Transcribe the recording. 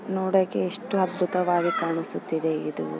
ನೋಡಕ್ಕೆ ಎಷ್ಟು ಅದ್ಭುತವಾಗಿ ಕಾಣಿಸುತ್ತಿದೆ ಇದು .